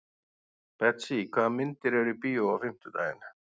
Betsý, hvaða myndir eru í bíó á fimmtudaginn?